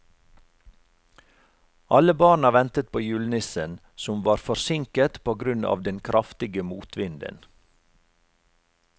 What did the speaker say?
Alle barna ventet på julenissen, som var forsinket på grunn av den kraftige motvinden.